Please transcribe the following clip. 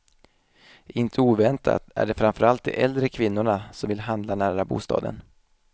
Inte oväntat är det framför allt de äldre kvinnorna som vill handla nära bostaden.